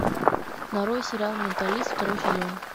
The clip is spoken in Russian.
нарой сериал менталист второй сезон